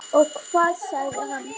Og hvað sagði hann?